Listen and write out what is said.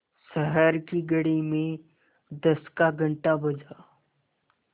शहर की घड़ी में दस का घण्टा बजा